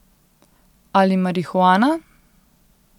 Ali marihuana?